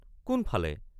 কোন ফালে?